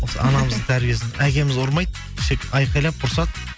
осы анамыздың тәрбиесі әкеміз ұрмайды тек айқалап ұрсады